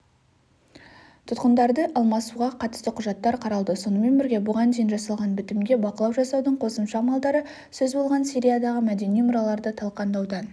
тұтқындарды алмасуға қатысты құжаттар қаралды сонымен бірге бұған дейін жасалған бітімге бақылау жасаудың қосымша амалдары сөз болған сириядағы мәдени мұраларды талқандаудан